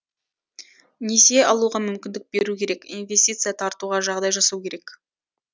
несие алуға мүмкіндік беру керек инвестиция тартуға жағдай жасау керек